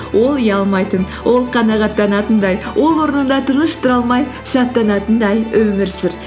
ол ұялмайтын ол қанағаттанатындай ол орнында тыныш тұра алмай шаттанатындай өмір сүр